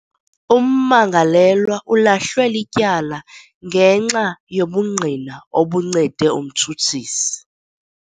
Ummangalelwa ulahlwe lityala ngenxa yobungqina obuncede umtshutshisi.